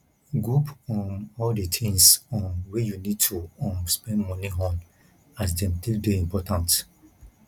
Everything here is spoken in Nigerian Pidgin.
group um all di things um wey you need to um spend moni on as dem take dey important